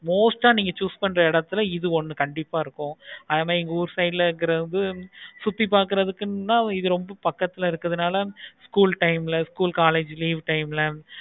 most ஆஹ் நீங்க choose பண்ற எடத்துல இது ஒன்னு கண்டிப்பா இருக்கும். ஆனா எங்க ஊர் side ல வந்து சுத்தி பார்க்குறது தான் இது ரொம்ப பக்கத்துல இறுக்கனால school time ல school, college leave time ல